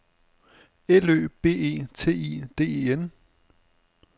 L Ø B E T I D E N